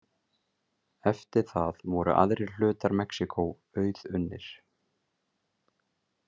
Eftir það voru aðrir hlutar Mexíkó auðunnir.